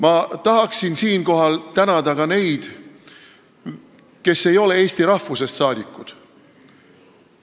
Ma tahaksin siinkohal tänada ka neid, kes ei ole eesti rahvusest rahvasaadikud.